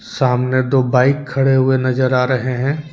सामने दो बाइक खड़े हुए नजर आ रहे हैं।